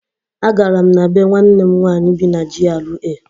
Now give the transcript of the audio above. Agara m na béé nwanne m nwanyị bi na GRA.